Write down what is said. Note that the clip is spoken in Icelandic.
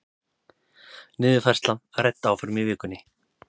Niðurfærsla rædd áfram í vikunni